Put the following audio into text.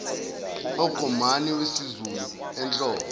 okombani wezulu ehlobo